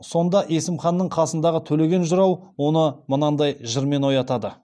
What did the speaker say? сонда есім ханның қасындағы төлеген жырау оны мынадай жырмен оятады